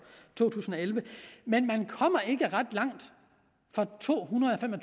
to tusind og elleve men man kommer ikke ret langt for to hundrede og fem og